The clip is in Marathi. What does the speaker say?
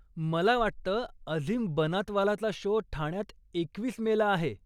मला वाटतं, अझीम बनातवालाचा शो ठाण्यात एकवीस मे ला आहे.